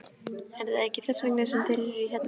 Er það ekki þess vegna sem þeir eru hérna?